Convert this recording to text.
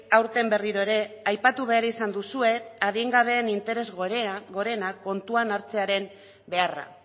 aurten berriro ere aipatu behar izan duzue adingabeen interes gorenak kontuan hartzearen beharra